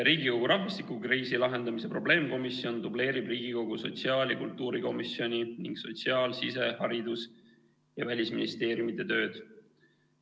Riigikogu rahvastikukriisi lahendamise probleemkomisjon dubleerib Riigikogu sotsiaal- ja kultuurikomisjoni ning sotsiaal-, sise-, haridus- ja välisministeeriumi tööd.